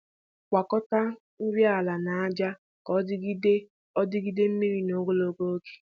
Gwakọta nri ala na aja ka ọ jigide ọ jigide mmiri n'ogologo oge.